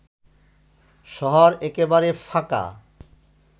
শহর একেবারে ফাঁকা